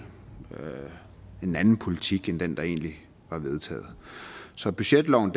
en anden politik end den der egentlig var vedtaget så budgetloven